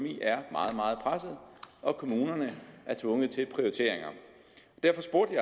meget meget presset og kommunerne er tvunget til prioriteringer derfor spurgte